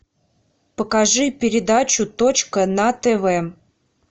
покажи передачу точка на тв